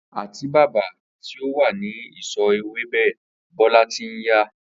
Àtíbàbà tí ó wà ní ìsò̩ ewébè Bó̩lá ti ń ya